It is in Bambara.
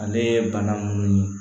Ale bana minnu ye